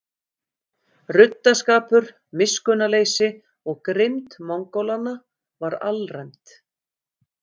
Ruddaskapur, miskunnarleysi og grimmd Mongólanna var alræmd.